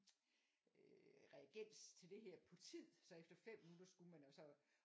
øh reagens til det her på tid så efter 5 minutter skulle man jo så